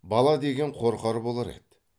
бала деген қорқар болар еді